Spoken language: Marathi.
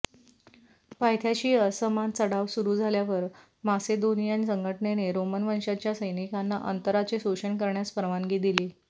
पायथ्याशी असमान चढाव सुरू झाल्यावर मासेदोनियन संघटनेने रोमन वंशाच्या सैनिकांना अंतराचे शोषण करण्यास परवानगी दिली